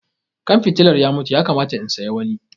Kan fitilar ya mutu, ya kamata in siya wani.